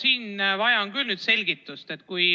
Ma vajan nüüd küll selgitust.